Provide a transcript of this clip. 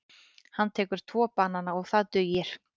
Hann tekur tvo banana og það dugir.